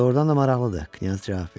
Doğrudan da maraqlıdır, Knyaz cavab verir.